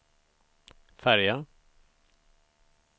färja